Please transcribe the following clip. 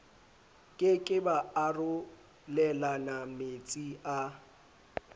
ke ke ba arolelanametsi a